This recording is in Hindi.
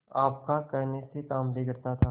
आपका कहने से काम बिगड़ता था